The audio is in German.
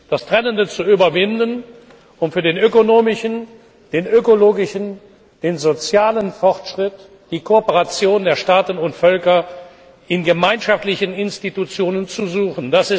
Das Trennende zu überwinden, und für den ökonomischen, den ökologischen, den sozialen Fortschritt die Kooperation der Staaten und Völker in gemeinschaftlichen Institutionen zu suchen.